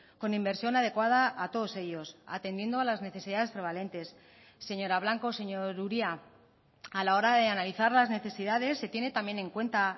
con inversión adecuada a todos ellos atendiendo a las necesidades prevalentes señora blanco señor uria a la hora de analizar las necesidades se tiene también en cuenta